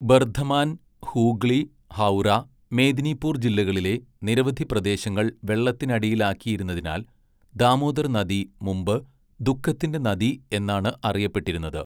ബർദ്ധമാൻ, ഹൂഗ്ലി, ഹൗറ, മേദിനിപൂർ ജില്ലകളിലെ നിരവധി പ്രദേശങ്ങൾ വെള്ളത്തിനടിയിലാക്കിയിരുന്നതിനാൽ ദാമോദർ നദി മുമ്പ് 'ദുഃഖത്തിന്റെ നദി' എന്നാണ് അറിയപ്പെട്ടിരുന്നത്.